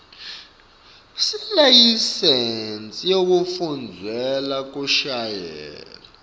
selayisensi yekufundzela kushayela